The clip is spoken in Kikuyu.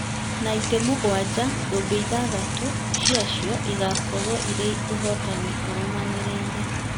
na itĩ mũgwanja thũmbĩ ithathatũ ciacio ikoragwo irĩ ũhootani ũrũmanĩrĩire.